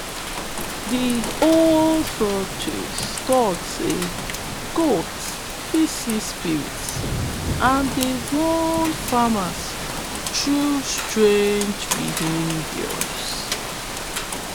de old folktales talk say goats fit see spirits and dey warn farmers through strange behavior